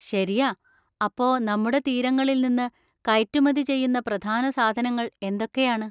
ശരിയാ! അപ്പോ, നമ്മുടെ തീരങ്ങളിൽ നിന്ന് കയറ്റുമതി ചെയ്യുന്ന പ്രധാന സാധനങ്ങൾ എന്തൊക്കെയാണ്?